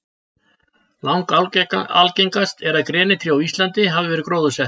langalgengast er að grenitré á íslandi hafi verið gróðursett